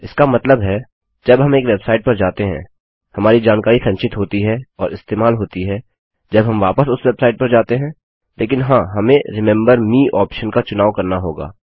इसका मतलब है जब हम एक वेबसाइट पर जाते हैं हमारी जानकारी संचित होती है और इस्तेमाल होती है जब हम वापस उस वेबसाइट पर जाते है लेकिन हाँ हमें रिमेंबर मे ऑप्शन का चुनाव करना होगा